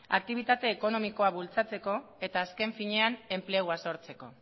aktibitate ekonomikoa bultzatzeko eta azken finean enplegua sortzeko